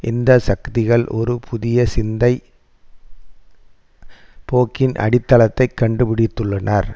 இந்த சக்திகள் ஒரு புதிய சிந்தைப் போக்கின் அடித்தளத்தை கண்டுபிடித்துள்ளனர்